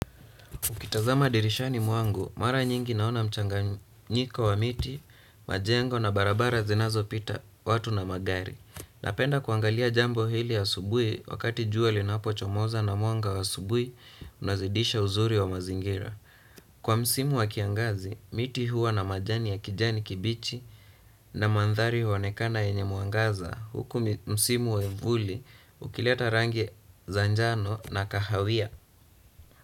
Ukitazama dirishani mwangu, mara nyingi naona mchanganyiko wa miti, majengo na barabara zinazo pita watu na magari. Napenda kuangalia jambo hili asubui wakati jua linapochomoza na mwanga wa asubui, unazidisha uzuri wa mazingira. Kwa msimu wa kiangazi, miti huwa na majani ya kijani kibichi na mandhari huonekana yenye mwangaza huku msimu wa vuli ukileta rangi za njano na kahawia.